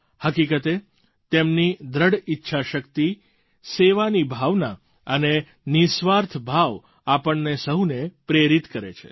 હકીકતે તેમની દૃઢ ઈચ્છાશક્તિ સેવાની ભાવના અને નિઃસ્વાર્થ ભાવ આપણને સહુને પ્રેરિત કરે છે